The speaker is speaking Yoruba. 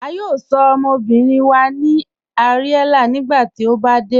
A yóò sọ̀ ọmọbìrín wa ní Ariella nígbàtí o bá dẹ̀.